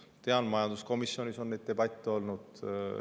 Tean, et ka majanduskomisjonis on neid debatte olnud.